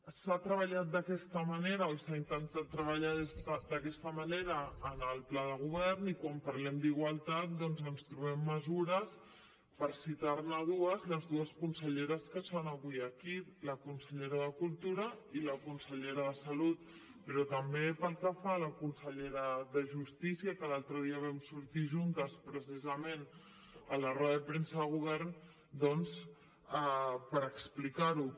s’ha treballat d’aquesta manera o s’ha intentat treballar d’aquesta manera en el pla de govern i quan parlem d’igualtat doncs ens trobem mesures per citar ne dues de les dues conselleres que són avui aquí la consellera de cultura i la consellera de salut però també pel que fa a la consellera de justícia que l’altre dia vam sortir juntes precisament a la roda de premsa del govern doncs per explicar ho